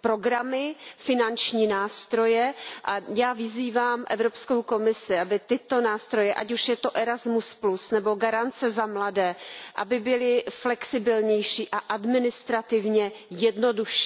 programy, finanční nástroje a já vyzývám Evropskou komisi, aby tyto nástroje, ať už je to Erasmus plus nebo Garance za mladé, byly flexibilnější a administrativně jednodušší.